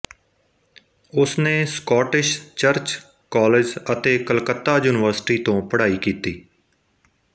ਉਸਨੇ Scottish church college ਅਤੇ Calcutta university ਤੋਂ ਪੜ੍ਹਾਈ ਕੀਤੀ